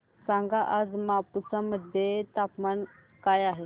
सांगा आज मापुसा मध्ये तापमान काय आहे